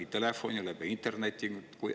Kas telefoni teel, interneti teel?